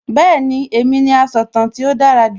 Bẹ́ẹ̀ni, èmi ni asọ̀tàn tí ó dára jù